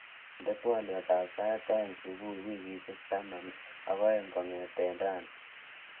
Indenee twoliotab sait aeng subui wikishek taman ak aeng kongete raini